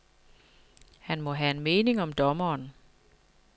Han må have en mening om dommeren.